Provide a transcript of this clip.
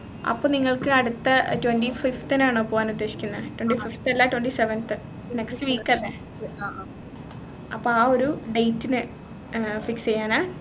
അപ്പൊ നിങ്ങൾക്ക് അടുത്ത twenty fifth നാണോ പോകാനുദ്ദേശിക്കുന്നെ twenty fifth അല്ല twenty seventh next week അല്ലെ അപ്പൊ ആഹ് ഒരു date നു fix ചെയ്യാനാ